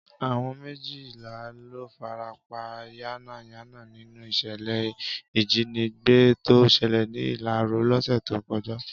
Àwọn méjìlá ló farapa yánnayànna nínú ìṣẹ̀lẹ̀ ìjínigbé tó ṣẹlẹ̀ ní Ìlarò lọ́sẹ̀ tó kọjá